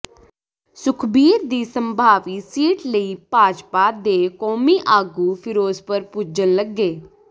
ਸੁਖਬੀਰ ਦੀ ਸੰਭਾਵੀ ਸੀਟ ਲਈ ਭਾਜਪਾ ਦੇ ਕੌਮੀ ਆਗੂ ਫਿਰੋਜ਼ਪੁਰ ਪੁੱਜਣ ਲੱਗੇ